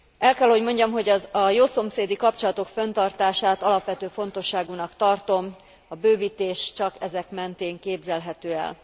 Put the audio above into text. El kell hogy mondjam, hogy a jószomszédi kapcsolatok fönntartását alapvető fontosságúnak tartom, a bővítés csak ezek mentén képzelhető el.